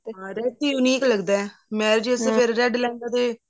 ਹਮ red unique ਲੱਗਦਾ ਫ਼ੇਰ red ਲੈਂਦਾ ਤੇ